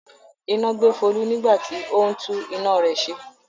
Iná gbé Folú nígbà tí ó ń tú iná rẹ̀ ṣe.